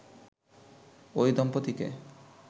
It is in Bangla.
ওই দম্পতিকে